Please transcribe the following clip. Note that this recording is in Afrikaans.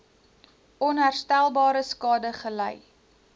onherstelbare skade gely